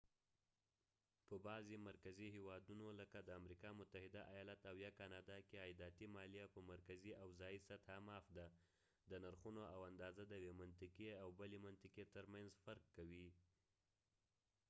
په بعضې مرکزي هیوادونو لکه د امریکا متحده آیالات او یا کانادا کې عایداتي مالیه په مرکزي او ځایي سطحه معاف ده د نرخونه او اندازه د یوې منطقې او بلې منطقې ترمنځ فرق کوي